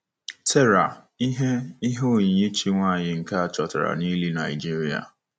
Terra - ihe - ihe oyiyi chi nwanyị nke a chọtara n'ili Nigeria.